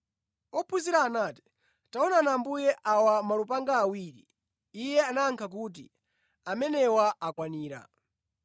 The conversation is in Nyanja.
Ophunzira anati, “Taonani Ambuye, awa malupanga awiri.” Iye anayankha kuti, “Amenewa akwanira.”